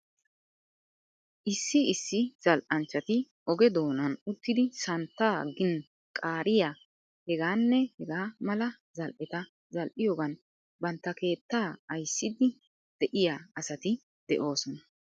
Issi issi zal'anchchati oge doonan uttidi santtaa gin qaariyaa hegaanne hegaa mala zal'eta zal'iyoogan bantta keettaa ayssidi diyaa asati de'oosona.